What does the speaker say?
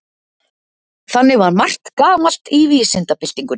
þannig var margt gamalt í vísindabyltingunni